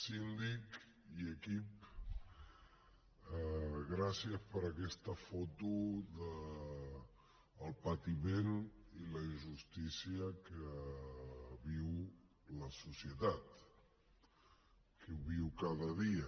síndic i equip gràcies per aquesta foto del patiment i la injustícia que viu la societat que ho viu cada dia